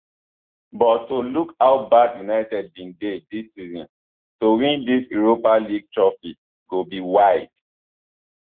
but to look how bad united bin dey dis season to win dis europa league trophy go be wild